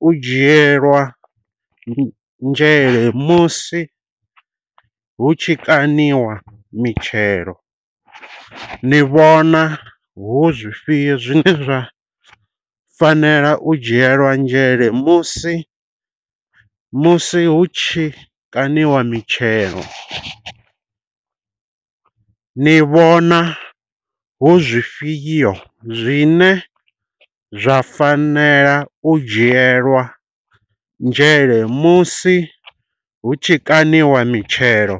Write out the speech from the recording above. u dzhielwa nzhele musi hu tshi kaniwa mitshelo. Ni vhona hu zwifhio zwine zwa fanela u dzhielwa nzhele musi musi hu tshikaṋiwa mitshelo. Ni vhona hu zwifhio zwine zwa fanela u dzhielwa nzhele musi hu tshi kaṋiwa mitshelo.